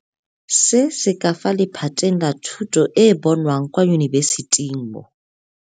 Se se ka fa lephateng la thuto e e bonwang kwa yunibesithing mo.